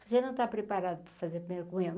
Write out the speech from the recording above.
Você não está preparado para fazer a primeira comunhão?